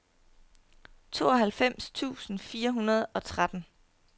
tooghalvfems tusind fire hundrede og tretten